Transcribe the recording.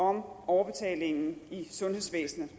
om overbetalingen i sundhedsvæsenet